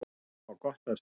Þau hafa gott af því.